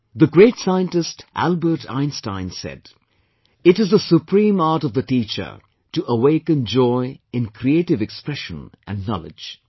The great scientist Albert Einstein said, "It is the supreme art of the teacher to awaken joy in creative expression and knowledge